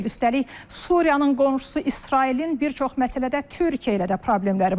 Üstəlik Suriyanın qonşusu İsrailin bir çox məsələdə Türkiyə ilə də problemləri var.